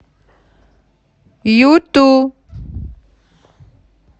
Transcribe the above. юту